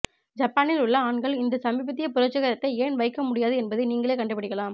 ஜப்பானில் உள்ள ஆண்கள் இந்த சமீபத்திய புரட்சிகரத்தை ஏன் வைக்க முடியாது என்பதை நீங்களே கண்டுபிடிக்கலாம்